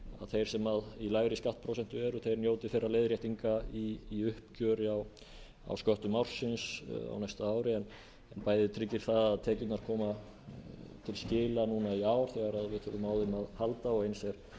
þeir sem í lægri skattprósentu eru njóti þeirra leiðréttinga í uppgjöri á sköttum ársins á næsta ári bæði tryggir það að tekjurnar koma til skila í ár þegar við þurfum á þeim að halda og eins er auðveldara og ódýrara